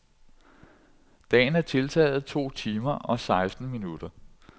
Dagen er tiltaget to timer og seksten minutter.